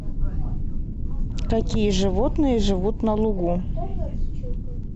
какие животные живут на лугу